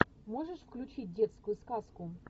можешь включить детскую сказку